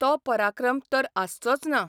तो पराक्रम तर आसचोच ना.